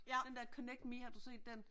Ja den der Connect Me, har du set den?